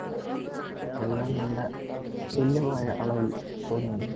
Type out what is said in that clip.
എല്ലാം നല്ല തുല്യമായ അളവിൽ പൊന്നു